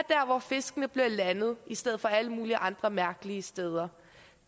hvor fiskene bliver landet i stedet for alle mulige andre mærkelige steder